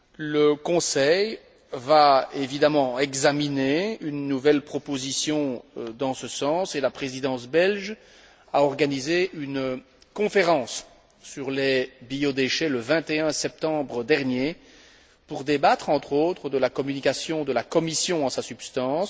Le Conseil va évidemment examiner une nouvelle proposition dans ce sens et la Présidence belge a organisé une conférence sur les biodéchets le 21 septembre dernier pour débattre, notamment, de la communication de la Commission dans sa substance.